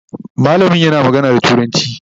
mallamin yana magana da turanci